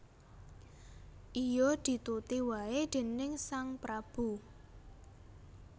Iya dituti waé déning sang prabu